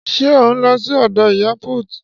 Ṣé ò ń lọ sí ọ̀dọ̀ ìyá put?